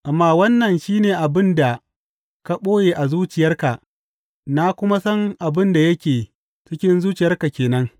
Amma wannan shi ne abin da ka ɓoye a zuciyarka, na kuma san abin da yake cikin zuciyarka ke nan.